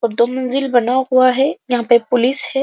और दो मंजिल बना हुआ है। यहां पे पुलिस है।